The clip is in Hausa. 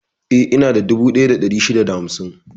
Eh, inada dubu ɗaya da ɗari shida da hamsin.